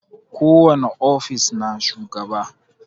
Ko wani ofis na shugaba.